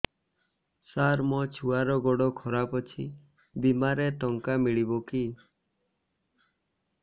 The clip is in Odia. ସାର ମୋର ଛୁଆର ଗୋଡ ଖରାପ ଅଛି ବିମାରେ ଟଙ୍କା ମିଳିବ କି